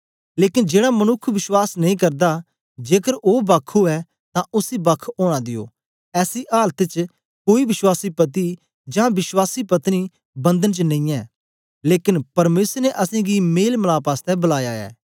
लेकन जेड़ा मनुक्ख विश्वास नेई करदा जेकर ओ बक्ख उवै तां उसी बक्ख ओना दियो ऐसी आलत च कोई विश्वासी पति जां विश्वासी पत्नी बंधन च नेई ऐ लेकन परमेसर ने असेंगी मेलमलाप आसतै बलाया ऐ